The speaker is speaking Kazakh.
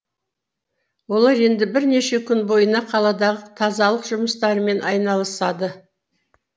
олар енді бірнеше күн бойына қаладағы тазалық жұмыстарымен айналысады